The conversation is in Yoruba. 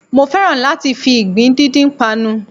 Mo fẹ́ràn láti fi ìgbín díndín panu